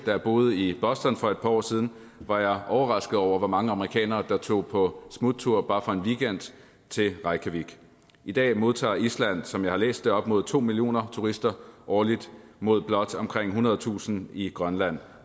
jeg boede i boston for et par år siden var jeg overrasket over hvor mange amerikanere der tog på smuttur bare for en weekend til reykjavik i dag modtager island som jeg har læst det op mod to millioner turister årligt mod blot omkring ethundredetusind i grønland